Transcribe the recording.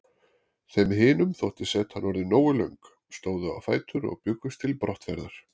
Þeim hinum þótti setan orðin nógu löng, stóðu á fætur og bjuggust til brottferðar.